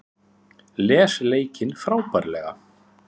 Les leikinn frábærlega